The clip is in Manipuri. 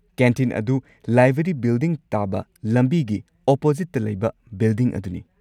ꯀꯦꯟꯇꯤꯟ ꯑꯗꯨ ꯂꯥꯏꯕ꯭ꯔꯔꯤ ꯕꯤꯜꯗꯤꯡ ꯇꯥꯕ ꯂꯝꯕꯤꯒꯤ ꯑꯣꯄꯣꯖꯤꯠꯇ ꯂꯩꯕ ꯕꯤꯜꯗꯤꯡ ꯑꯗꯨꯅꯤ꯫